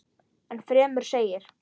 Enn fremur segir